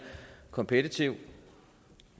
kompetitiv